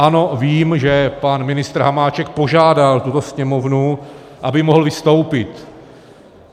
Ano, vím, že pan ministr Hamáček požádal tuto Sněmovnu, aby mohl vystoupit.